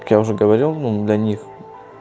так я уже говорил ну для них